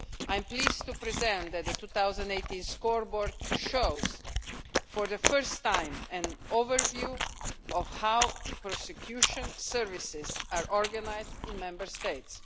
I am pleased to say that the 2018 Scoreboard shows for the first time an overview of how prosecution services are organised in Member States.